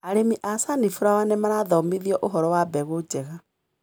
Arĩmi a sunflower nĩmarathomithio ũhoro wa mbegũ njega.